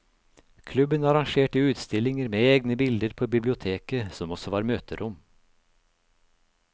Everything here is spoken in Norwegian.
Klubben arrangerte utstillinger med egne bilder på biblioteket, som også var møterom.